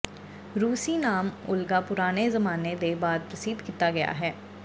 ਰੂਸੀ ਨਾਮ ਓਲਗਾ ਪੁਰਾਣੇ ਜ਼ਮਾਨੇ ਦੇ ਬਾਅਦ ਪ੍ਰਸਿੱਧ ਕੀਤਾ ਗਿਆ ਹੈ